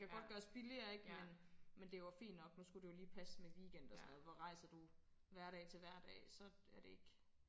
Det kan godt gøres billigere ikke men men det var fint nok nu skulle det jo lige passe med weekend og sådan noget hvor rejser du hverdag til hverdag så er det ikke